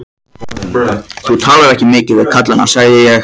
Þú talar ekki mikið við kallana, sagði ég.